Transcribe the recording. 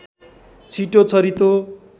छिटो छरितो